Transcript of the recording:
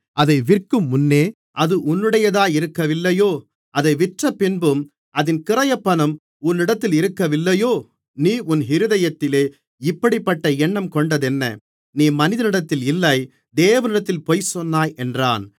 அதை விற்கும் முன்னே அது உன்னுடையதாயிருக்கவில்லையோ அதை விற்றப்பின்பும் அதின் கிரயப்பணம் உன்னிடத்திலிருக்கவில்லையோ நீ உன் இருதயத்திலே இப்படிப்பட்ட எண்ணம் கொண்டதென்ன நீ மனிதனிடத்தில் இல்லை தேவனிடத்தில் பொய்சொன்னாய் என்றான்